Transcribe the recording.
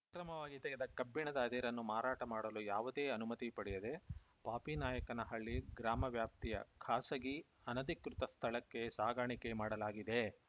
ಅಕ್ರಮವಾಗಿ ತೆಗೆದ ಕಬ್ಬಿಣದ ಅದಿರನ್ನು ಮಾರಾಟ ಮಾಡಲು ಯಾವುದೇ ಅನುಮತಿ ಪಡೆಯದೆ ಪಾಪಿನಾಯಕಹಳ್ಳಿ ಗ್ರಾಮ ವ್ಯಾಪ್ತಿಯ ಖಾಸಗಿ ಅನಧಿಕೃತ ಸ್ಥಳಕ್ಕೆ ಸಾಗಾಣಿಕೆ ಮಾಡಲಾಗಿದೆ